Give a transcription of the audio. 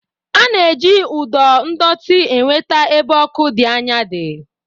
A na-eji ụdọ ndọtị enweta ebe ọkụ dị́ anya dị̀.